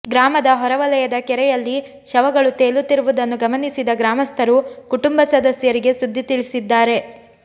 ಗ್ರಾಮದ ಹೊರವಲಯದ ಕೆರೆಯಲ್ಲಿ ಶವಗಳು ತೇಲುತ್ತಿರುವುದನ್ನು ಗಮನಿಸಿದ ಗ್ರಾಮಸ್ಥರು ಕುಟುಂಬ ಸದಸ್ಯರಿಗೆ ಸುದ್ದಿ ತಿಳಿಸಿದ್ದಾರೆ